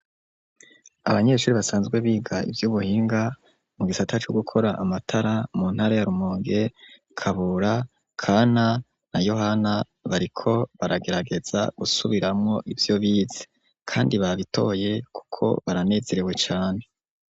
Abanyeshure basanzwe biga ivy'ubuhinga, mu gisata co gukora amatara, mu ntara ya Rumonge, Kabura, Kana na Yohana bariko baragerageza gusubiramwo ivyo bize kandi babitoye kuko baranezerewe cane.